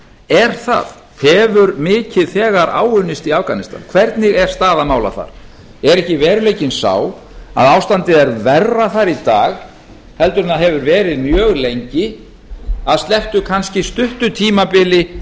er það hefur mikið þegar áunnist í afganistan hvernig er staða mála þar er ekki veruleikinn sá að ástandið er bera þar í dag heldur en hefur verið mjög lengi að slepptu kannski stuttu tímabili